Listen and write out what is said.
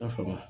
A fa ma